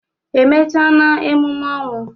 E mechana emume ọnwụ?